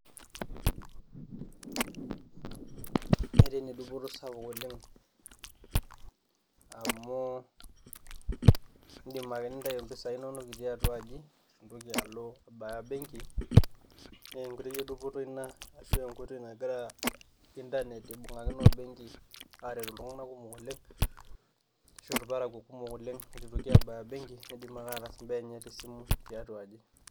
Netaa ene duoto sapuk oleng' amu indim ake nintayu impisai inonok itii atua aji mintoki alo abaya benki naa enkoitoi e dupoto ina ashu enkoitoi nagira intanet ibung'akino o benki aret iltung'anak kumok oleng' ashu irparakuo kumok oleng' itu itoki abaya benki, niidim ake atasimbaa enye te simu tiatua aji.